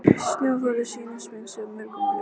Sólarljóð, er sýnast munu minnst að mörgu login.